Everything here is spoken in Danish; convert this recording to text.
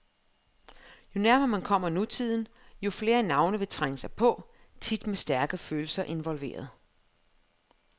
Jo nærmere man kommer nutiden, jo flere navne vil trænge sig på, tit med stærke følelser involveret.